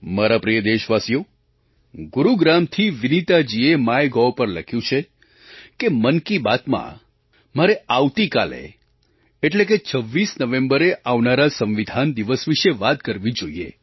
મારા પ્રિય દેશવાસીઓ ગુરુગ્રામથી વિનિતાજીએ માય ગોવ પર લખ્યું છે કે મન કી બાતમાં મારે આવતીકાલે એટલે કે 26 નવેમ્બરે આવનારા સંવિધાન દિવસ વિશે વાત કરવી જોઈએ